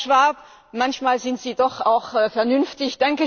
Herr Schwab, manchmal sind Sie doch auch vernünftig!